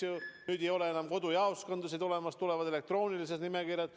Enam ei ole kodujaoskondasid olemas, tulevad elektroonilised nimekirjad.